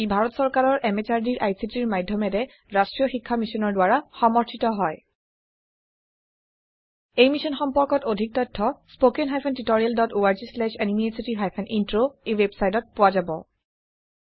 ই ভাৰত চৰকাৰৰ MHRDৰ ICTৰ মাধয়মেৰে ৰাস্ত্ৰীয় শিক্ষা মিছনৰ দ্ৱাৰা সমৰ্থিত হয় এই মিশ্যন সম্পৰ্কত অধিক তথ্য spoken hyphen tutorial dot org slash এনএমইআইচিত হাইফেন ইন্ট্ৰ ৱেবচাইটত পোৱা যাব